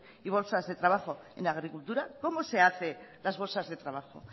y bolsas de trabajo en agricultura cómo se hace las bolsas de trabajo